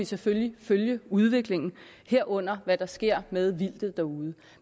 selvfølgelig følge udviklingen herunder hvad der sker med vildtet derude